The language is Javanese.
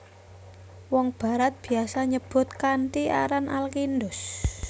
Wong Barat biasa nyebut kanthi aran Al Kindus